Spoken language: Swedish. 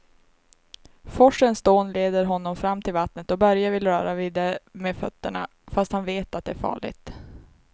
Forsens dån leder honom fram till vattnet och Börje vill röra vid det med fötterna, fast han vet att det är farligt.